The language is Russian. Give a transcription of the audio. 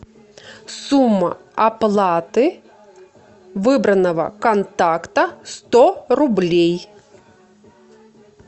сумма оплаты выбранного контакта сто рублей